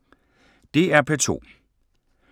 DR P2